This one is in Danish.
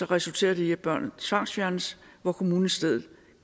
resulterer i at børnene tvangsfjernes hvor kommunen i stedet